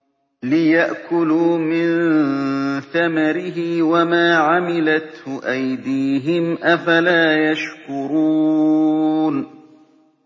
لِيَأْكُلُوا مِن ثَمَرِهِ وَمَا عَمِلَتْهُ أَيْدِيهِمْ ۖ أَفَلَا يَشْكُرُونَ